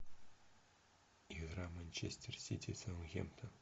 игра манчестер сити саутгемптон